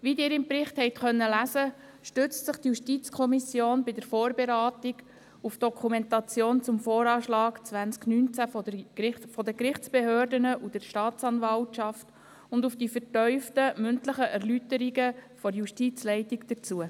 Wie Sie im Bericht haben lesen können, stützt sich die JuKo bei der Vorberatung auf die Dokumentation der Gerichtsbehörden und der Staatsanwaltschaft zum VA 2019 und auf die vertieften mündlichen Erläuterungen der Justizleitung dazu.